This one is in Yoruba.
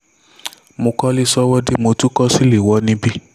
mo kọ́lé sọ́wọ́de mo tún kọ́ sìléwọ́ níbí